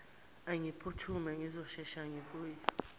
angiphuthume ngizosheshe ngibuye